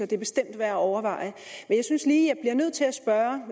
det er bestemt værd at overveje men jeg synes lige at jeg bliver nødt til at spørge